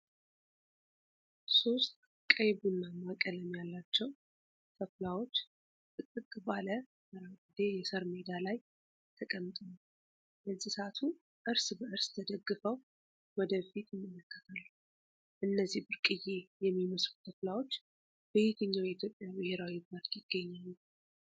ሶስት ቀይ-ቡናማ ቀለም ያላቸው ተኩላዎች ጥቅጥቅ ባለ አረንጓዴ የሳር ሜዳ ላይ ተቀምጠዋል። እንስሳቱ እርስ በእርስ ተደግፈው ወደ ፊት ይመለከታሉ። እነዚህ ብርቅዬ የሚመስሉ ተኩላዎች በየትኛው የኢትዮጵያ ብሔራዊ ፓርክ ይገኛሉ?